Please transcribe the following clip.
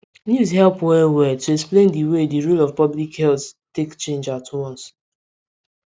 news help well well to explain di way di rule of public health take change at once